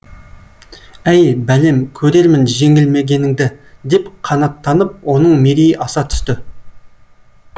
әй бәлем көрермін жеңілмегеніңді деп қанаттанып оның мерейі аса түсті